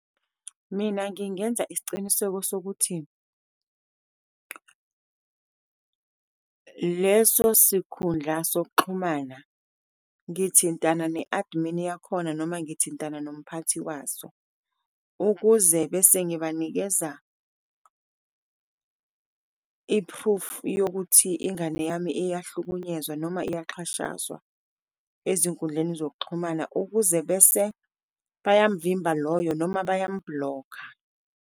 Mina ngingenza isiciniseko sokuthi leso sikhundla sokuxhumana, ngithintana ne-admin yakhona noma ngithintana nomphathi waso, ukuze bese ngibanikeza i-proof yokuthi ingane yami iyahlukunyezwa noma iyaxhashazwa ezinkundleni zokuxhumana ukuze bese bayamvimba loyo noma bayamu-block-a.